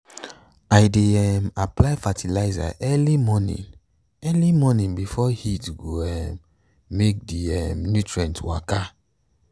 i dey um apply fertilizer early morning early morning before heat go um make the um nutrients waka.